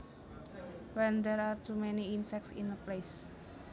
When there are to many insects in a place